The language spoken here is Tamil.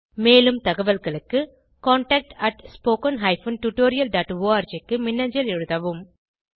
மேலும் தகவல்களுக்கு contactspoken tutorialorg க்கு மின்னஞ்சல் எழுதவும்